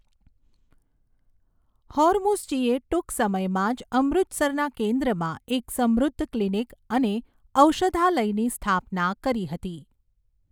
હોરમુસજીએ ટૂંક સમયમાં જ અમૃતસરના કેન્દ્રમાં એક સમૃદ્ધ ક્લિનિક અને ઔષધાલયની સ્થાપના કરી હતી.